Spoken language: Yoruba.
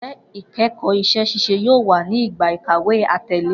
Njẹ ikẹkọ iṣẹ-ṣiṣe yoo wa ni igba ikawe atẹle.